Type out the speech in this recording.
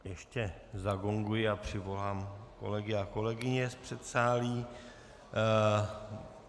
Ještě zagonguji a přivolám kolegy a kolegyně z předsálí.